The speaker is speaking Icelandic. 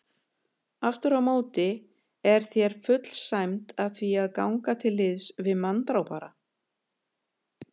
Afturámóti er þér full sæmd að því að ganga til liðs við manndrápara.